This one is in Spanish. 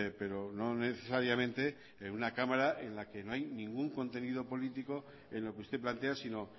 pero no necesariamente en una cámara en la que no hay ningún contenido político en lo que usted plantea sino